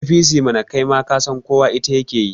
APC mana, kai ma kasan ita kowa yake yi